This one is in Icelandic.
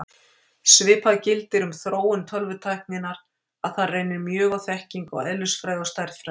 Svipað gildir um þróun tölvutækninnar, að þar reynir mjög á þekkingu á eðlisfræði og stærðfræði.